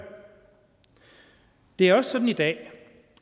det er også sådan i dag